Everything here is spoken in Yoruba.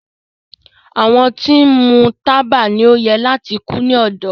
Awọn ti nmu taba ni o yẹ lati ku ni ọdọ